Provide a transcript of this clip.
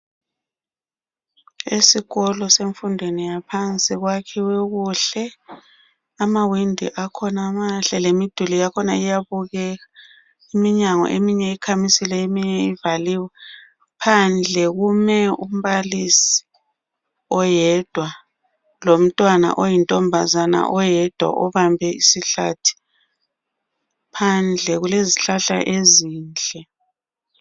Esikolo semfundweni yaphansi kwakhiwe kuhle. Amawindi akhona mahle. Lemiduli yakhona iyabukeka. Iminyango eminye ikhamisile. Eminye ivaliwe. Phandle kume umbalisi oyedwa. Lomntwana oyintombazana, oyedwa , obambe isihlathi. Phandle kulezihlahla ezinhle.